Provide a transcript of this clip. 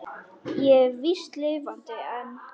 Ég er víst lifandi enn!